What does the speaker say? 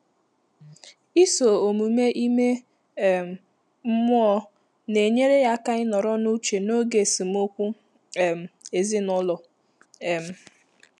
Ị́sò ọ́mụ́mé ímé um mmụ́ọ́ nà-ényéré yá áká ị́nọ́rọ́ n’úchè n’ógè ésémókwú um èzínụ́lọ́. um